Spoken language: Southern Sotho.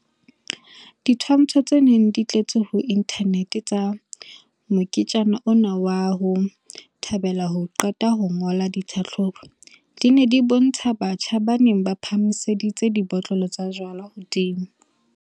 Ditshwantsho tse neng di tletse ho inthanete tsa moketjana ona wa 'ho thabela ho qeta ho ngola ditlhahlobo', di ne di bontsha batjha ba neng ba phahamiseditse dibotlolo tsa jwala hodimo.